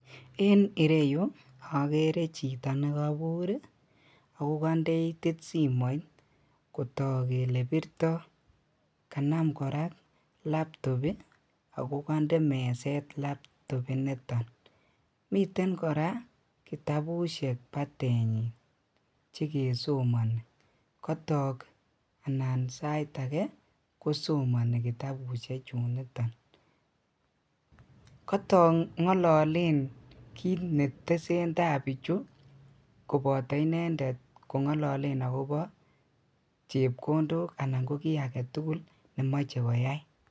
En ireyu okere chito nekobur ii akokondee itit simoit kotok kele birto kanam koraa laptop ii akokonde meset laptop initon, miten koraa kitabushek batenyi chekesomoni kotok anan sait akee kosomoni kitabushechuniton, kotok ngololen kit netesentai bichu koboto inendet kongololen akobo chepkondok anan koki agetugul nemoche koyai.